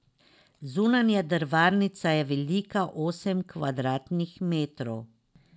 Zunanja drvarnica je velika osem kvadratnih metrov.